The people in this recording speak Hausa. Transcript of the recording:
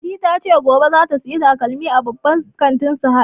Fati ta ce gobe zata saya takalmi a babban kantin Sahad